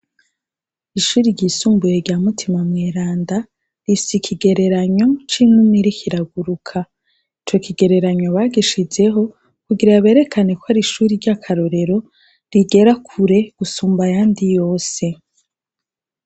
Ishuri ryisumbuye rya Mutima Mweranda rifis’ikigereranyo c'inuma irikiraguruka ,ico kigereranyo bagishizeho kugira berekane ko ari ishuri ry'akarorero rigerakure gusumb’ yandi yose.